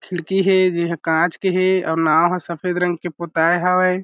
खिड़की हे जेहा काँच के हे अव नाव ह सफेद रंग के पोताए हावय।